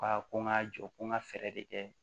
Ka ko n ka jɔ ko n ka fɛɛrɛ de kɛ